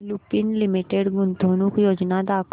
Lupin limited गुंतवणूक योजना दाखव